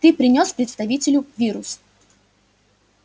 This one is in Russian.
ты принёс представителю вирус